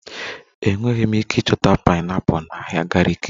Enweghị m ike ịchọta pineapples na ahịa gariki